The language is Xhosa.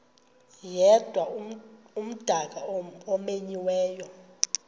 yedwa umdaka omenyiweyo